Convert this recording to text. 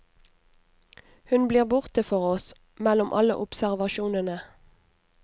Hun blir borte for oss, mellom alle observasjonene.